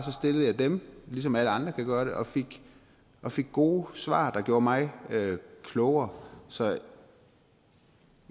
stillede jeg dem ligesom alle andre kan gøre det og fik og fik gode svar der gjorde mig klogere så